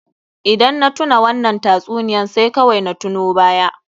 Idan na tuna wannan tatsuniyar sai kawai na tuno baya.